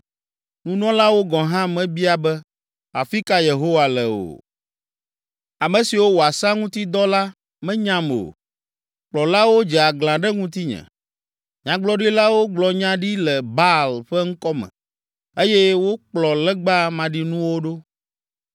Nunɔlawo gɔ̃ hã mebia be, ‘Afi ka Yehowa le?’ o. Ame siwo wɔa sea ŋuti dɔ la menyam o. Kplɔlawo dze aglã ɖe ŋutinye. Nyagblɔɖilawo gblɔ nya ɖi le Baal ƒe ŋkɔ me eye wokplɔ legba maɖinuwo ɖo.”